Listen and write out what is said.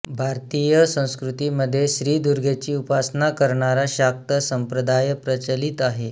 भारतीय संस्कृतीमध्ये श्री दुर्गेची उपासना करणारा शाक्त संप्रदाय प्रचलित आहे